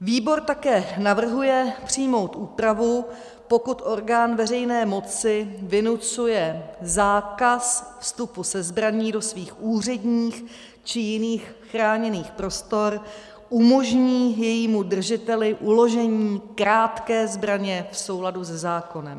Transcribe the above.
Výbor také navrhuje přijmout úpravu - pokud orgán veřejné moci vynucuje zákaz vstupu se zbraní do svých úředních či jiných chráněných prostor, umožní jejímu držiteli uložení krátké zbraně v souladu se zákonem.